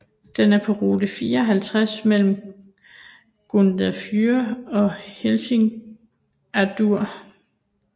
Den er på rute 54 mellem Grundarfjörður og Hellissandur